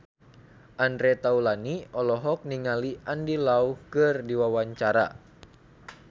Andre Taulany olohok ningali Andy Lau keur diwawancara